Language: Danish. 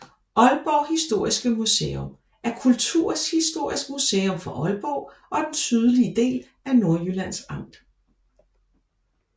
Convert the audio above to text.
Aalborg Historiske Museum er kulturhistorisk museum for Aalborg og den sydlige del af Nordjyllands Amt